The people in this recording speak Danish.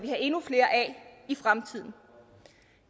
have endnu flere af i fremtiden